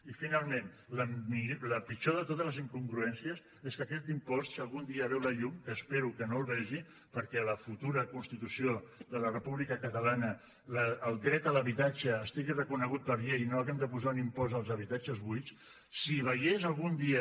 i finalment la pitjor de totes les incongruències és que aquest impost si algun dia veu la llum que espero que no la vegi perquè a la futura constitució de la república catalana el dret a l’habitatge estigui reconegut per llei i no hàgim de posar un impost als habitatges buits si veiés algun dia